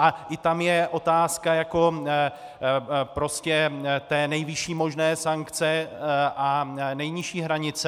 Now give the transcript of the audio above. A i tam je otázka jako prostě té nejvyšší možné sankce a nejnižší hranice.